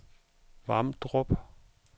Vamdrup